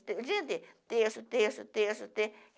O dia inteiro, terço, terço, terço,